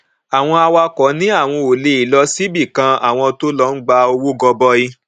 àwọn awakọ ní àwọn ò le lọ síbi kan àwọn tó lọ ń gba owó gọbọi